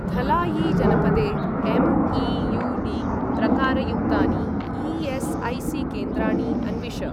धलायी जनपदे एम्.ई.यू.डी. प्रकारयुक्तानि ई.एस्.ऐ.सी.केन्द्राणि अन्विष।